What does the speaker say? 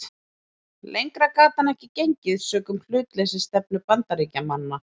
Lengra gat hann ekki gengið sökum hlutleysisstefnu Bandaríkjamanna.